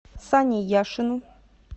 сане яшину